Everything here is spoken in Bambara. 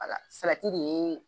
de ye.